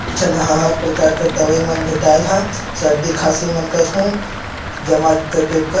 इ झन हर प्रकार कर दवाई मन भेटाय ल ह सरदी खांसी मन करहु --]